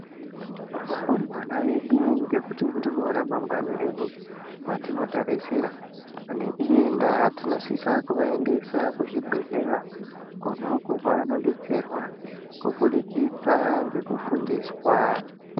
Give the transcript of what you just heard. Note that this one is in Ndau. Varumbwana vedu ngekuti ndiro ramangani redu vatinotarisira, neiyi ndaa tinosisa kuvaendesa kuzvibhehleya konauko kwavanodetserwa kubudikidzwa ngekufundiswaa.